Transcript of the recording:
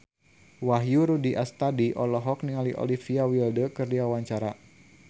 Wahyu Rudi Astadi olohok ningali Olivia Wilde keur diwawancara